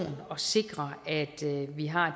at sikre at vi har